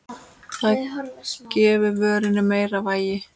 Það gefi vörunni meira vægi.